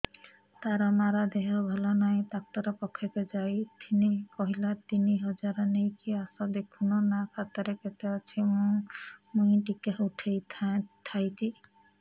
ତାର ମାର ଦେହେ ଭଲ ନାଇଁ ଡାକ୍ତର ପଖକେ ଯାଈଥିନି କହିଲା ତିନ ହଜାର ନେଇକି ଆସ ଦେଖୁନ ନା ଖାତାରେ କେତେ ଅଛି ମୁଇଁ ଟିକେ ଉଠେଇ ଥାଇତି